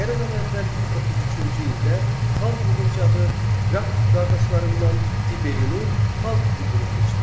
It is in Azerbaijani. Eradan əvvəl 133-cü ildə xalq yığıncağı Qrakx qardaşlarından Tiberini xalq tribunu seçdi.